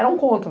Eram contra.